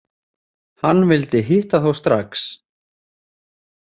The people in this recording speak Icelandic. Hann vildi hitta þá strax.